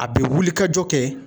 A bɛ wulikajɔ kɛ.